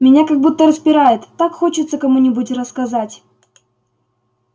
меня как будто распирает так хочется кому-нибудь рассказать